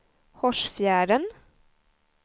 Hårsfjärden